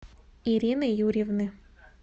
ирины юрьевны